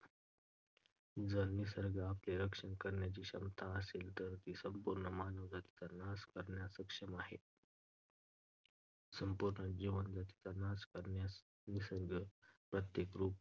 जर निसर्गात आपले रक्षण करण्याची क्षमता असेल तर ती संपूर्ण मानवजातीचा नाश करण्यास सक्षम आहे. संपूर्ण मानवजातीचा नाश करण्यास निसर्गाचे प्रत्येक रूप,